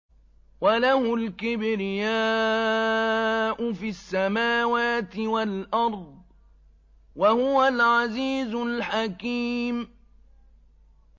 وَلَهُ الْكِبْرِيَاءُ فِي السَّمَاوَاتِ وَالْأَرْضِ ۖ وَهُوَ الْعَزِيزُ الْحَكِيمُ